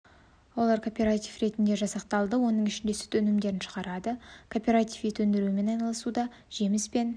олар кооператив ретінде жасақталды оның ішінде сүт өнімдерін шығарады кооператив ет өндірумен айналысуда жеміс пен